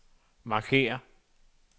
markér